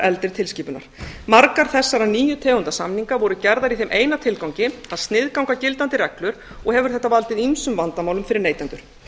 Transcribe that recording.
eldri tilskipunar margar þessara nýju tegunda samninga voru gerðar í þeim eina tilgangi að sniðganga gildandi reglur og hefur þetta valdið ýmsum vandamálum fyrir neytendur